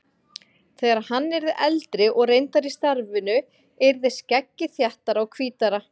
Þegar hann yrði eldri og reyndari í starfinu yrði skeggið þéttara og hvítara.